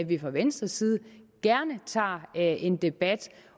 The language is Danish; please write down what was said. vi fra venstres side gerne tager en debat